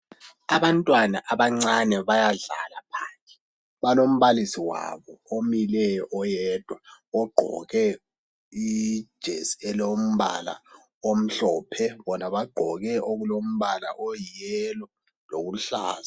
Abantwana abancane bayadlala phandle. Balombalisi wabo omileyo oyedwa. Ogqoke ijesi elilombala omhlophe, bona bagqoke okulombala oyiyelo loluhlaza.